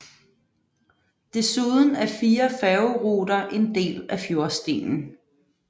Desuden er fire færgeruter en del af Fjordstien